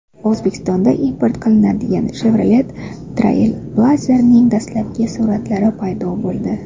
O‘zbekistonga import qilinadigan Chevrolet Trailblazer’ning dastlabki suratlari paydo bo‘ldi .